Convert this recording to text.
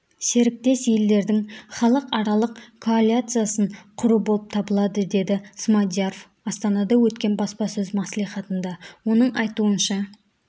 серіктес елдердің іалықаралық коалициясын құру болып табылады деді смадияров астанада өткен баспасөз мәслиіатында оның айтуынша